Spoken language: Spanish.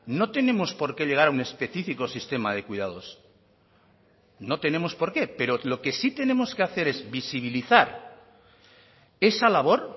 no tenemos porqué llegar a un específico sistema de cuidados no tenemos porqué pero lo que sí tenemos que hacer es visibilizar esa labor